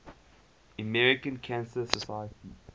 american cancer society